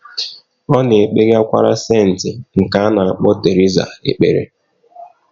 Ọ na - ekpegakwara “ senti ” nke a na - akpọ Theresa ekpere.